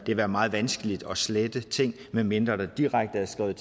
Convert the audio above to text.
det være meget vanskeligt at slette ting medmindre der direkte er skrevet